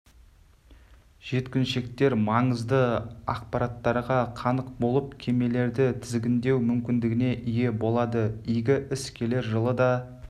жеткіншектер маңызды ақпараттарға қанық болып кемелерді тізгіндеу мүмкіндігіне ие болады игі іс келер жылы да